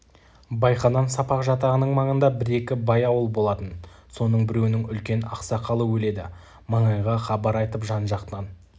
байқадам-сапақ жатағының маңында бір-екі бай ауыл болатын соның біреуінің үлкен ақсақалы өледі маңайға хабар айтып жан-жақтан